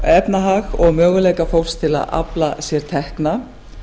efnahag og möguleika fólks til að afla sér tekna